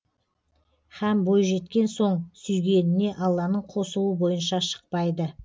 һәм бой жеткен соң сүйгеніне алланың қосуы бойынша шықпайды